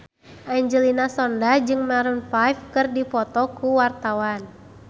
Angelina Sondakh jeung Maroon 5 keur dipoto ku wartawan